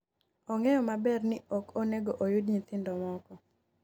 ong'eyo maber ni ok onego oyud nyithindo moko